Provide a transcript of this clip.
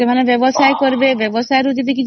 ଯାହା ଦ୍ବାରା ବ୍ଯବସାଉୟ ରୁ କିଛି